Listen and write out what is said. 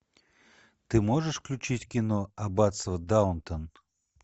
ты можешь включить кино аббатство даунтон